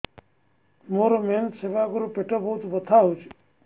ମୋର ମେନ୍ସେସ ହବା ଆଗରୁ ପେଟ ବହୁତ ବଥା ହଉଚି